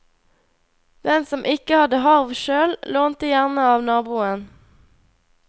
Den som ikke hadde harv sjøl, lånte gjerne av naboen.